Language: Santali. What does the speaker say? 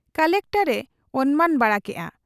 ᱠᱚᱞᱮᱠᱴᱚᱨ ᱮ ᱚᱱᱢᱟᱱ ᱵᱟᱲᱟ ᱠᱮᱜ ᱟ ᱾